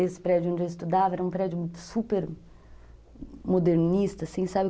Esse prédio onde eu estudava era um prédio super modernista, assim, sabe?